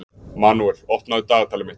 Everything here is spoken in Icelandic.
Manuel, opnaðu dagatalið mitt.